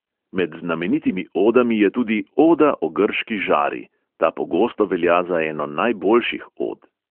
Med znamenitimi odami je tudi oda o grški žari – ta pogosto velja za eno najboljših od.